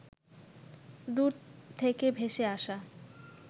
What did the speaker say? দূর থেকে ভেসে আসা